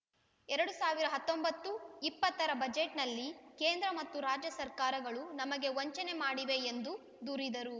ಎರಡು ಸಾವಿರದ ಹತ್ತೊಂಬತ್ತು ಇಪ್ಪತ್ತ ರ ಬಜೆಟ್‌ನಲ್ಲಿ ಕೇಂದ್ರ ಮತ್ತು ರಾಜ್ಯ ಸರ್ಕಾರಗಳು ನಮಗೆ ವಂಚನೆ ಮಾಡಿವೆ ಎಂದು ದೂರಿದರು